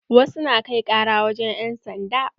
Wasu na kai ƙara wurin 'yansanda.